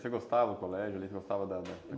Você gostava do colégio ali?